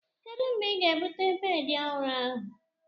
Kedu mgbe ị ga-ebute bedị ọhụrụ ahu?